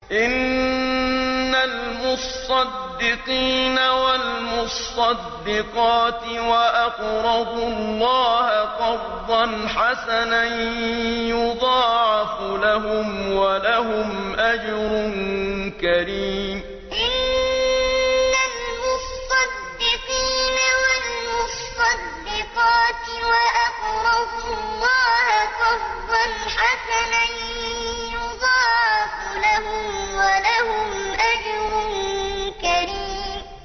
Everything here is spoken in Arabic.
إِنَّ الْمُصَّدِّقِينَ وَالْمُصَّدِّقَاتِ وَأَقْرَضُوا اللَّهَ قَرْضًا حَسَنًا يُضَاعَفُ لَهُمْ وَلَهُمْ أَجْرٌ كَرِيمٌ إِنَّ الْمُصَّدِّقِينَ وَالْمُصَّدِّقَاتِ وَأَقْرَضُوا اللَّهَ قَرْضًا حَسَنًا يُضَاعَفُ لَهُمْ وَلَهُمْ أَجْرٌ كَرِيمٌ